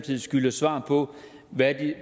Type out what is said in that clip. skylder svar på hvordan